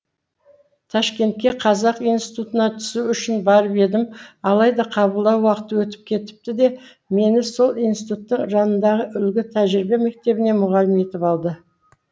ташкентке қазақ институтына түсу үшін барып едім алайда қабылдау уақыты өтіп кетіпті де мені сол институттың жанындағы үлгі тәжірибе мектебіне мұғалім етіп алды